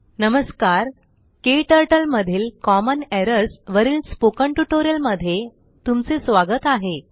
नमस्कारKTurtleमधीलCommon Errorsवरिल स्पोकनटयूटोरिअल मध्ये तुमचे स्वागत आहे